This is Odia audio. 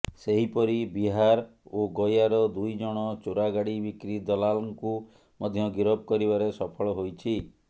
ସେହିପରି ବିହାର ଓ ଗୟାର ଦୁଇଜଣ ଚୋରାଗାଡ଼ି ବିକ୍ରି ଦଲାଲ୍ଙ୍କୁ ମଧ୍ୟ ଗିରଫ କରିବାରେ ସଫଳ ହୋଇଛି